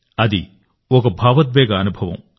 అది ఒక భావోద్వేగ అనుభవం